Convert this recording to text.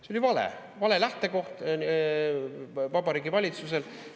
See oli vale – vale lähtekoht Vabariigi Valitsusel!